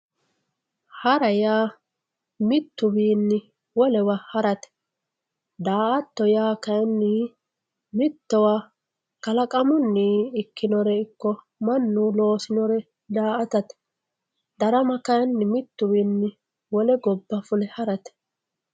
Hara yaa mituwiini wolewa harate. da'ato yaa kalaqamunni ikkinore manu loosinore da''atate darama kayini mituwinni wole goba fule harate